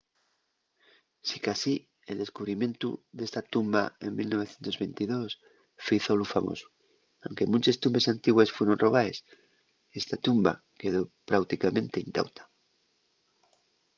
sicasí el descubrimientu d’esta tumba en 1922 fízolu famosu. aunque munches tumbes antigües fueron robaes esta tumba quedó práuticamente intauta